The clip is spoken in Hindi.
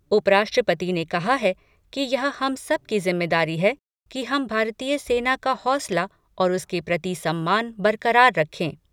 उप राष्ट्रपति ने कहा है कि यह हम सब की जिम्मेदारी है कि हम भारतीय सेना का हौसला और उसके प्रति सम्मान बरकरार रखें।